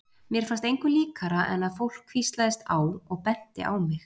Mér fannst engu líkara en að fólk hvíslaðist á og benti á mig.